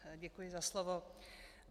Děkuji za slovo.